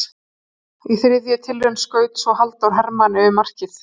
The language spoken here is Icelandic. Í þriðju tilraun skaut svo Halldór Hermann yfir markið.